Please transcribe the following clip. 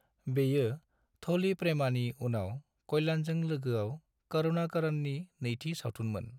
बेयो 'थोली प्रेमा'नि उनाव कल्याणजों लोगोआव करुणाकरननि नैथि सावथुनमोन।